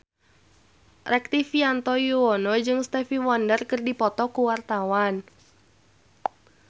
Rektivianto Yoewono jeung Stevie Wonder keur dipoto ku wartawan